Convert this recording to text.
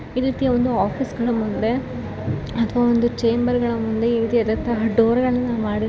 ಈ ರೀತಿಯ ಒಂದು ಆಫೀಸ್ಗಳ ಮುಂದೆ ಅಥವಾ ಒಂದು ಚೇಮ್ಬರ್ಗಳ ಮುಂದೆ ಈ ರೀತಿಯಾದ ಡೋರ್ಗಳನ್ನ ಮಾಡಿ --